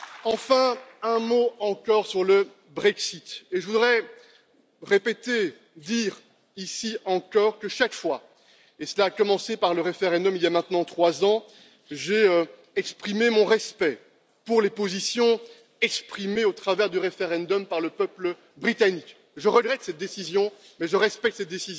Enfin, un mot encore sur le Brexit je voudrais répéter, dire ici encore que, chaque fois et cela a commencé par le référendum, il y a maintenant trois ans j'ai respecté les positions exprimées au moyen du référendum par le peuple britannique. Je regrette cette décision, mais je la respecte, car elle